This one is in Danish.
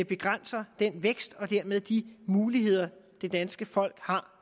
begrænser den vækst og dermed de muligheder det danske folk har